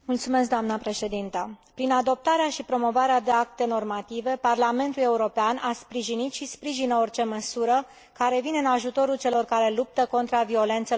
Prin adoptarea și promovarea de acte normative, Parlamentul European a sprijinit și sprijină orice măsură care vine în ajutorul celor care luptă contra violențelor împotriva femeilor.